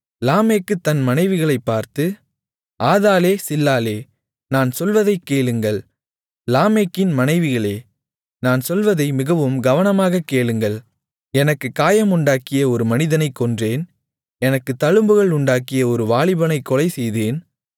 லாமேக்கு தன் மனைவிகளைப் பார்த்து ஆதாளே சில்லாளே நான் சொல்வதைக் கேளுங்கள் லாமேக்கின் மனைவிகளே நான் சொல்வதை மிகவும் கவனமாகக் கேளுங்கள் எனக்குக் காயமுண்டாக்கிய ஒரு மனிதனைக் கொன்றேன் எனக்குத் தழும்புண்டாக்கிய ஒரு வாலிபனைக் கொலைசெய்தேன்